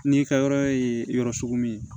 N'i ka yɔrɔ ye yɔrɔ sugu min ye